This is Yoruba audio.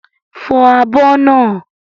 Fọ àbọ̀ naa!